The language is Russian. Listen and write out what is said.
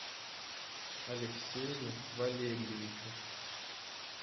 алексею валерьевичу